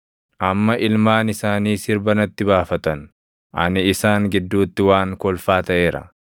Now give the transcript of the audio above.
“Amma ilmaan isaanii sirba natti baafatan; ani isaan gidduutti waan kolfaa taʼeera.